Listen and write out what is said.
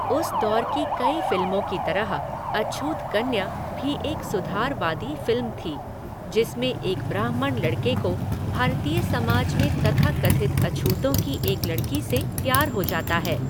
उस दौर की कई फिल्मों की तरह अछूत कन्या भी एक सुधारवादी फिल्म थी, जिसमें एक ब्राह्मण लड़के को भारतीय समाज में तथाकथित अछूतों की एक लड़की से प्यार हो जाता है।